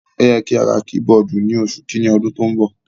Ó yẹ kí a ra kí-bọọ̀dù ní oṣù kìíní ọdún tó ń bọ̀.